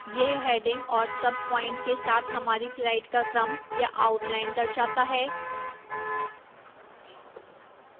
यह headings और subप्वाइंट के साथ हमारी slides का क्रम या outline दर्शाता है